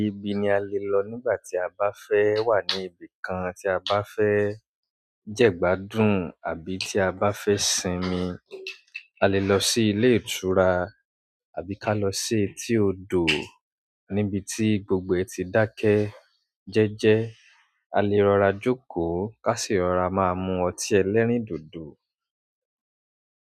Ibi ni a lè lọ nígbà tí a bá fẹ́ wà ní ibìkan tí a bá fẹ́ jẹ̀gbádùn àbí tí a bá fẹ́ sinmi. A lè lọ sí ilé ìtura àbí ká lọ sí etí odò níbití gbogbo ẹ̀ ti dákẹ́ jẹ́jẹ́. A le rọra jókòó ká sì rọra máa mu ọtí ẹlẹ́rìndòdò.